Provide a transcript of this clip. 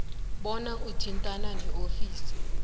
bona uthintane neofisi